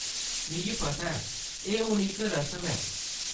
मिगी पता ऐ, एह्‌‌ हून इक रसम ऐ।